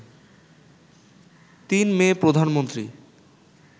৩ May, Pradhan Mantri